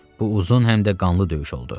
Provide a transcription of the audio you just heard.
Bu uzun həm də qanlı döyüş oldu.